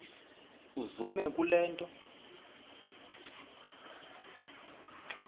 uzume kule nto